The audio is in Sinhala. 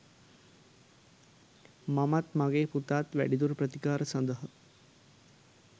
මමත් මගේ පුතාත් වැඩිදුර ප්‍රතිකාර සඳහා